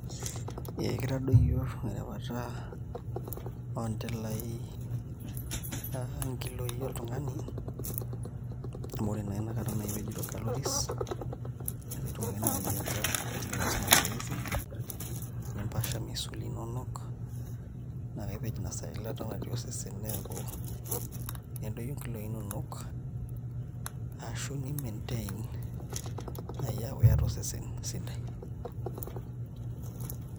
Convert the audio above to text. Ee kitadoyio erewata oontilaai nkilooi oltung'ani amu ore naa inakata naa aipejito calories neeku itum ake naai ataa iasita mazoezi nimpasha misuli inonok naa kaipej inasaa eilata natii osesen neeku nedoyio nkilooi inonok ashu ni maintain aaku iata osesen sidai.